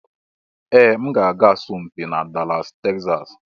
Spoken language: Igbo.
Ee! M ga-aga asọmpi na Dallas Texas.